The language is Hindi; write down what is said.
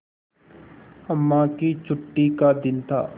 अम्मा की छुट्टी का दिन था